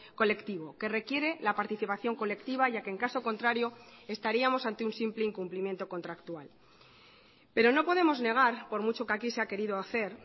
colectivo que requiere la participación colectiva ya que en caso contrario estaríamos ante un simple incumplimiento contractual pero no podemos negar por mucho que aquí se ha querido hacer